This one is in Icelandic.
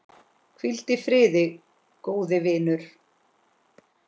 Hvíl í friði, góði vinur.